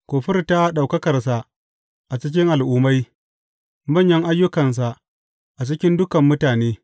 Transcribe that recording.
Ku furta ɗaukakarsa a cikin al’ummai, manyan ayyukansa a cikin dukan mutane.